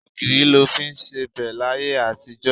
Ogìrì lọ fí ń sebẹ̀ láyé àtijó.